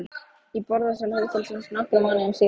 Í borðsal hótelsins nokkrum mánuðum síðar.